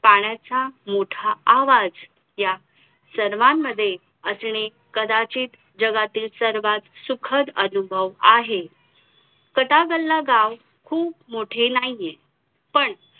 आ सदस्य quota pack करून ते आप राष्ट्रीय सभेपासून अल अलग झाले.